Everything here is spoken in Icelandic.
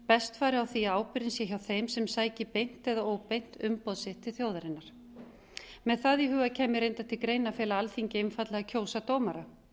best færi á því að ábyrgðin sé hjá þeim sem sæki beint eða óbeint umboð sitt til þjóðarinnar með það í huga kæmi reyndar til greina að fela alþingi einfaldlega að kjósa dómara